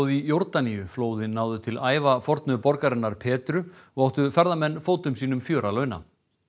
í Jórdaníu flóðin náðu til ævafornu borgarinnar og áttu ferðamenn fótum sínum fjör að launa